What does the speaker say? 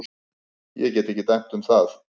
Ég get ekki dæmt um það.